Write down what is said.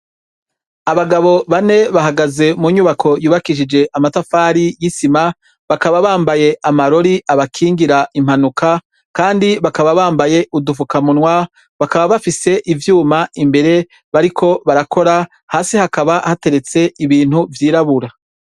Abagabo bane bahagaze mu nyubako yubakishije amatafari y'isima, bakaba bambaye amarori abakingira impanuka kandi bakaba bambaye udufukamunwa, bakaba bafise ivyuma imbere bariko barakora hasi hakaba hateretse ibintu vyirabura.